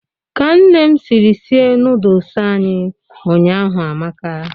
Ka Nne m siri sie nọọdụs anyị ụnyaahụ amaka.